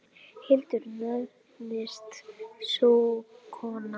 Hildur nefnist sú kona.